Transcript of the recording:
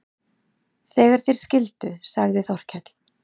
Þegar þeir skildu sagði Þórkell